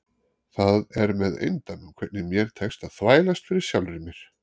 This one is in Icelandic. Það er með eindæmum hvernig mér tekst að þvælast fyrir sjálfri mér.